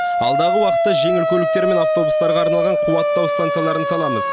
алдағы уақытта жеңіл көліктер мен автобустарға арналған қуаттау станцияларын саламыз